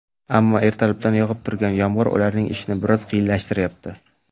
Ammo, ertalabdan yog‘ib turgan yomg‘ir ularning ishini biroz qiyinlashtirayapti.